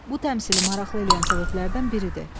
Bu təmsili maraqlı eləyən səbəblərdən biridir.